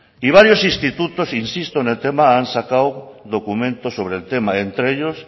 y varios institutos insisto en el tema han sacado documentos sobre el tema entre ellos